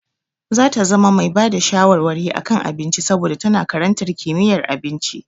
Za ta zama mai bada shawarwari a kan abinci saboda tana karantar kimiyyar abinci.